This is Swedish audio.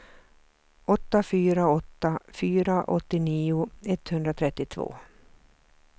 åtta fyra åtta fyra åttionio etthundratrettiotvå